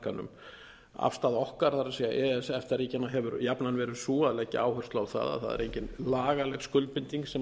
e e s efta ríkjanna hefur jafnan verið sú að leggja áherslu á það að það er engin lagaleg skuldbinding sem